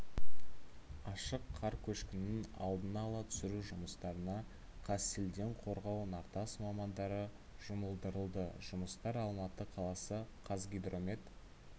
ашық қар көшкінін алдын ала түсіру жұмыстарына қазселденқорғау нартас мамандары жұмылдырылды жұмыстар алматы қаласы қазгидромет